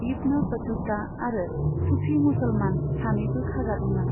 इब्न Battuta आरो सुफि मुसलमान सानैबो खाजादोंमोन।